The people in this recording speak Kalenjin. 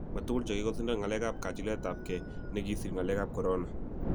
ma tugul che kikosindan ngalek ab kachilet ab gee ne kisir ngalek ab korona